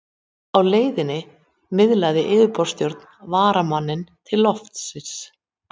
Á leiðinni miðlar yfirborðssjórinn varmanum til loftsins.